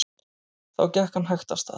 Þá gekk hann hægt af stað.